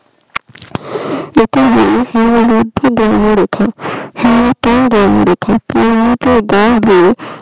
একেই বলে হিমভহ বধ রেখে